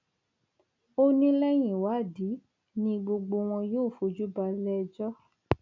ó ní lẹyìn ìwádìí ni gbogbo wọn yóò fojú balẹẹjọ